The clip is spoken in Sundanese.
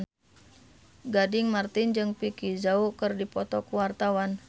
Gading Marten jeung Vicki Zao keur dipoto ku wartawan